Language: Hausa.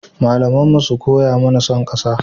Malamanmu sun koya mana son ƙasa.